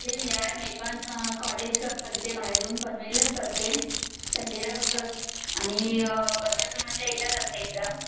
same यार मी पण कॉलेज चा करते बाहेरून पनवेललाच करते सनडे ला फक्त असता आणि अ वर्षातुन फक्त एकदाच आसते एक्जाम